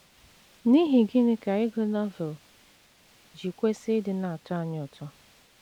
N’ihi gịnị ka ịgụ Novel ji kwesị ịdị na - atọ anyị ụtọ?